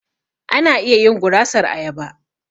Ana iya yin gurasar ayaba.